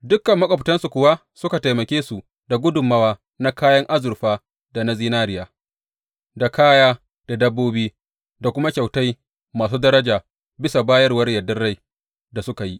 Dukan maƙwabtansu kuwa suka taimake su da gudummawa na kayan azurfa da na zinariya, da kaya, da dabbobi, da kuma kyautai masu daraja bisa bayarwar yardar rai da suka yi.